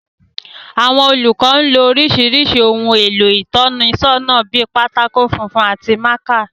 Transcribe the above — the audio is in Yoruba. Àwọn olùkọ́ ń lo oríṣiríṣi ohun èlò ìtọ́nisọ́nà bíi pátákó funfun àti mákà